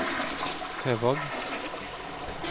Høvåg